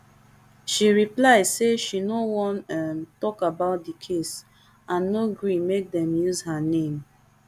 she reply say she no wan um tok about di case and no gree make dem use her name